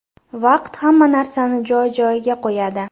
Vaqt hamma narsani joy-joyiga qo‘yadi.